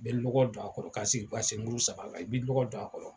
Bɛnɔgɔ don a kɔrɔ ka segi ka se muru saba la i b bɛ nɔgɔ don a kɔrɔ.